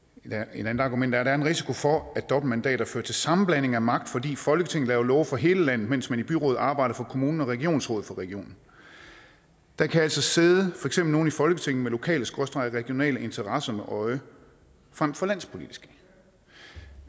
endnu et argument er at der er en risiko for at dobbeltmandater fører til sammenblanding af magt fordi folketinget laver love for hele landet mens man i byrådet arbejder for kommunen og i regionsrådet for regionen der kan altså sidde nogle i folketinget med lokaleregionale interesser øje frem for landspolitiske